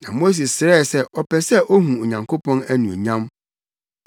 Na Mose srɛɛ sɛ ɔpɛ sɛ ohu Onyankopɔn anuonyam.